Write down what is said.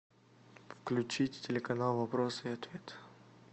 включить телеканал вопрос и ответ